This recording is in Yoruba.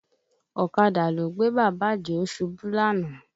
Ọ̀kadà ló gbé Bàbá Àdìó ṣubú lánàá